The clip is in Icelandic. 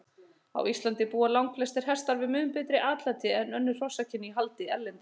Á Íslandi búa langflestir hestar við mun betra atlæti en önnur hrossakyn í haldi erlendis.